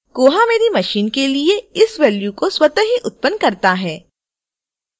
koha मेरी machine के लिए इस value को स्वतः ही उत्पन्न करता है